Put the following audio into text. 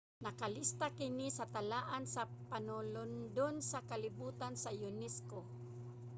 nakalista kini sa talaan sa panulondon sa kalibotan sa unesco